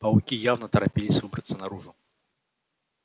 пауки явно торопились выбраться наружу